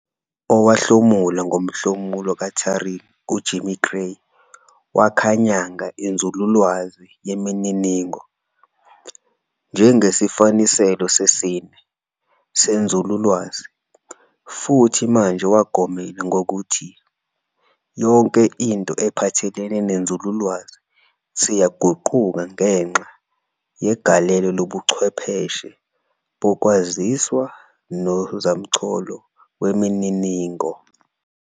Owahlomula ngoMhlumulo kaTuring, uJim Gray wakhanyanga inzululwazi yemininingo "njengesifaniselo sesine" senzululwazi, futhi manje wagomela ngokuthi "yonke into ephathelene nenzululwazi isiyaguquka ngenxa yegalelo lobuchwepheshe bokwaziswa nozamcolo wemininingo.